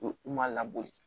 U ma labɔ